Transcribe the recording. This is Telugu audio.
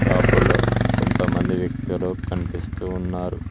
షాపులో కొంతమంది వ్యక్తులు కనిపిస్తూ ఉన్నారు.